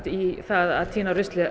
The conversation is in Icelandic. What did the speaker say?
í að tína